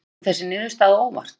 Kom þessi niðurstaða á óvart?